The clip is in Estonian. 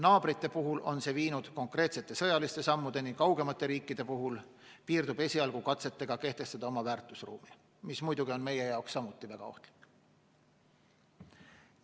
Naabrite puhul on see viinud konkreetsete sõjaliste sammudeni, kaugemate riikide puhul piirdub esialgu katsetega kehtestada oma väärtusruumi, mis muidugi on meie jaoks samuti väga ohtlik.